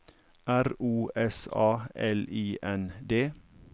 R O S A L I N D